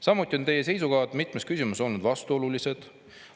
" Samuti on teie seisukohad mitmes küsimuses olnud vastuolulised.